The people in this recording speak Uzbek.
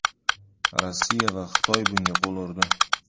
Rossiya va Xitoy bunga qo‘l urdi.